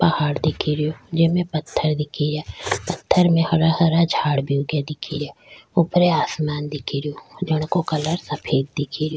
पहाड़ दिख रो जेम पत्थर दिख रा पत्थर में हरा हरा झाड़ भी उगे दिख रा ऊपर आसमान दिख रो जिनको कलर सफ़ेद दिख रो।